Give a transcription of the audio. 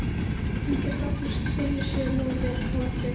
Og hún getur aldrei þvegið sér nógu vel á eftir.